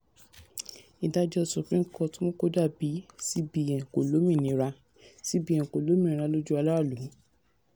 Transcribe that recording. ìdájọ́ supreme court mú kó dà bí cbn kò lómìnira cbn kò lómìnira lójú aráàlú.